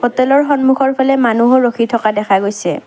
হোটেলৰ সন্মুখৰ ফালে মানুহো ৰখি থকা দেখা গৈছে।